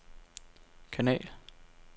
kanal